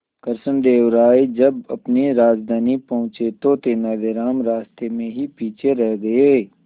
कृष्णदेव राय जब अपनी राजधानी पहुंचे तो तेलानीराम रास्ते में ही पीछे रह गए